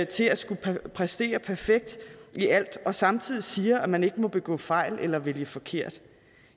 til at skulle præstere perfekt i alt og samtidig siger at man ikke må begå fejl eller vælge forkert